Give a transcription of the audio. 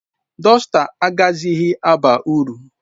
Dọsta agaghịzi aba uru.